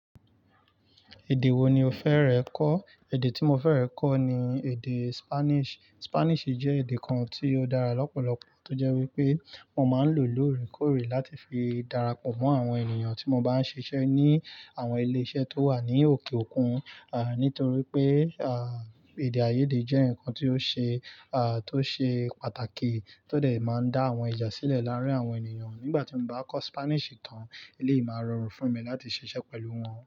Èdè wo ni o fẹ́rẹ̀ kọ́? Èdè tí mo fẹ́rẹ̀ kọ́ ni èdè Spanish. Spanish jẹ́ èdè kan tí ó dára lọ́pọ̀lọpọ̀ tó jẹ́ wípé mo máa ń lò lóòrèkóòrè láti fi darapọ̀ mọ́ àwọn ènìyàn tí mo bá ń ṣiṣẹ́ ní àwọn ilé iṣẹ́ tó wà ní òkè òkun, nítorí pé, èdè àìyédè jẹ́ ǹnkan tí ó ṣe, tó ṣe pàtàkì tó dè máa ń dá àwọn ìjà sílẹ̀ láàrin àwọn ènìyàn. Nígbà tí n bá kọ́ Spanish tán, eleyìí máa rọrùn fún mi láti ṣiṣẹ́ pẹ̀lú wọn.